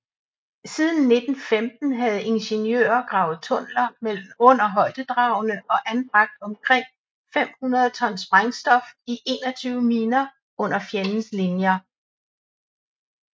Siden 1915 havde ingeniører gravet tunneller under højdedragene og anbragt omkring 500 ton sprængstof i 21 miner under fjendens linjer